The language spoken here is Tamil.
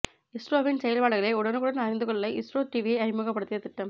இஸ்ரோவின் செயல்பாடுகளை உடனுக்குடன் அறிந்து கொள்ள இஸ்ரோ டிவியை அறிமுகப்படுத்த திட்டம்